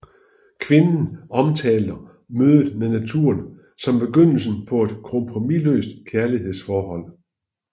Kvinden omtaler mødet med naturen som begyndelsen på et kompromisløst kærlighedsforhold